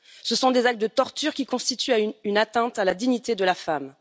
Ce sont des actes de torture qui constituent une atteinte à la dignité de la femme.